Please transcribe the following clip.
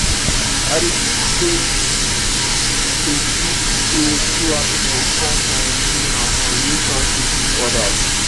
i dey tink say dey tink say true happiness come from within and from relatioships with others.